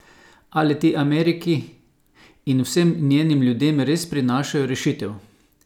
Ali ti Ameriki in vsem njenim ljudem res prinašajo rešitev?